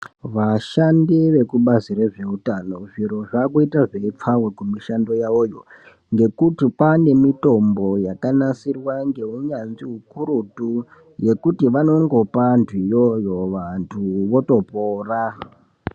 Vashandi vekubazi rezveutano zviro zvakuita zveipfava kumishando yavoyo ngekuti kwane mitombo yakanasirwa ngeunyanzvi ukurutu yekuti vanongopa antu iyoyo vantu votopora.